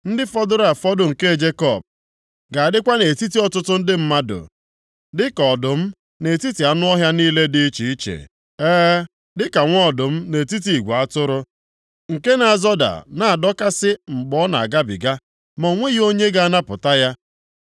Ndị fọdụrụ afọdụ nke Jekọb ga-adịkwa nʼetiti ọtụtụ ndị mmadụ dị ka ọdụm nʼetiti anụ ọhịa niile dị iche iche, e, dịka nwa ọdụm nʼetiti igwe atụrụ, nke na-azọda na-adọkasị mgbe ọ na-agabiga, ma o nweghị onye ga-anapụta ya.